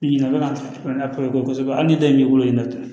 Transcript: Ɲininkali a ka bon kosɛbɛ hali ni dɔ in b'i bolo dɛ